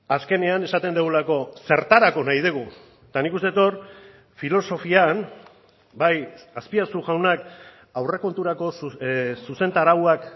azkenean esaten dugulako zertarako nahi dugu eta nik uste dut hor filosofian bai azpiazu jaunak aurrekonturako zuzentarauak